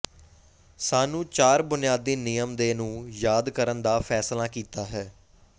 ਸਾਨੂੰ ਚਾਰ ਬੁਨਿਆਦੀ ਨਿਯਮ ਦੇ ਨੂੰ ਯਾਦ ਕਰਨ ਦਾ ਫੈਸਲਾ ਕੀਤਾ ਹੈ